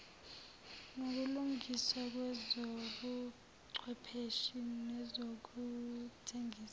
nokulungiswa kwezobuchwepheshe nezokuthengisa